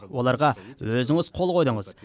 оларға өзіңіз қол қойдыңыз